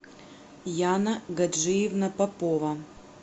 яна гаджиевна попова